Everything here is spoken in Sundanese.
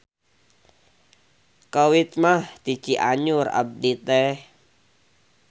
Kawit mah ti Cianjur abdi teh